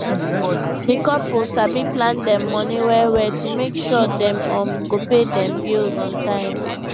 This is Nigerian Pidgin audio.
di couple sabi plan dem money wellwell to make sure dem um go pay dem bills on time